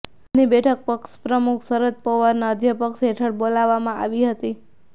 આજની બેઠક પક્ષપ્રમુખ શરદ પવારના અધ્યક્ષપદ હેઠળ બોલાવવામાં આવી હતી